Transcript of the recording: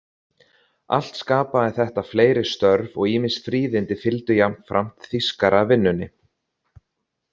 Allt skapaði þetta fleiri störf og ýmis fríðindi fylgdu jafnframt þýskaravinnunni.